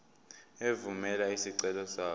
evumela isicelo sakho